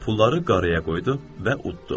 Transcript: Pulları qaraya qoydu və uddu.